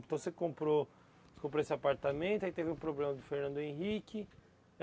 Então, você comprou, você comprou esse apartamento, aí teve o problema do Fernando Henrique.